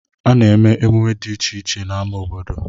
A na-eme emume dị iche iche n'ama obodo.